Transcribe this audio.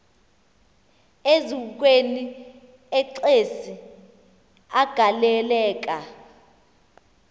eziukweni exesi agaleleka